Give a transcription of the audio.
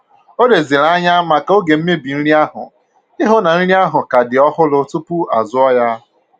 O leziri anya maka oge mmebi nri ahụ ịhụ na nri ahụ ka dị ọhụrụ tupu azụọ ya